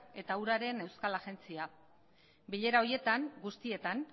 eta uraren euskal agentzia bilera horietan guztietan